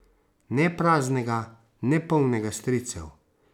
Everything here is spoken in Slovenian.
Ne praznega, ne polnega stricev.